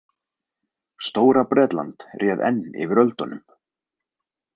Stóra- Bretland réð enn yfir öldunum.